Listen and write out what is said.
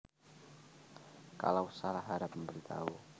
Kalau salah harap memberitahu